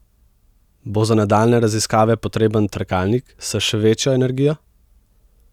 Bo za nadaljnje raziskave potreben trkalnik s še večjo energijo?